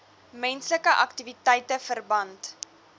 menslike aktiwiteite verband